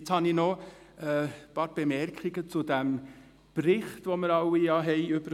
Jetzt habe ich noch ein paar Bemerkungen zum Bericht , den wir alle erhalten haben.